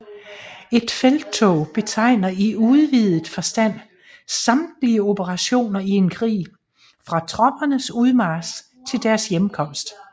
Et felttog betegner i udvidet forstand samtlige operationer i en krig fra troppernes udmarch til deres hjemkomst